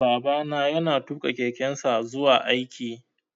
Babana ya na tuƙa kekensa zuwa aiki